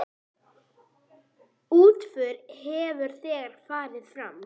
Útför hefur þegar farið fram.